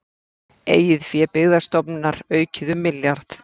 Eigið fé Byggðastofnunar aukið um milljarð